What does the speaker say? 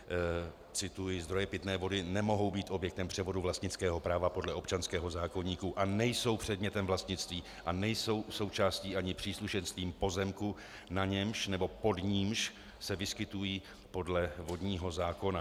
Cituji: "Zdroje pitné vody nemohou být objektem převodu vlastnického práva podle občanského zákoníku a nejsou předmětem vlastnictví a nejsou součástí ani příslušenstvím pozemku, na němž nebo pod nímž se vyskytují podle vodního zákona."